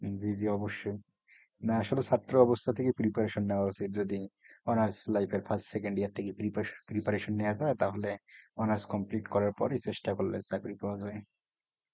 হম জি জি অবশ্যই না আসলে ছাত্র অবস্থা থেকেই preparation নেওয়া উচিত। যদি honors life এর first second year থেকে preparation preparation নেওয়া যায় তাহলে honors complete করার পরেই চেষ্টা করলে চাকরি পাওয়া যায়।